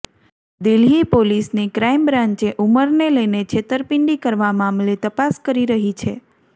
દિલ્હી પોલીસની ક્રાઇમબ્રાન્ચે ઉંમરને લઇને છેતરપિંડી કરવા મામલે તપાસ કરી રહી છે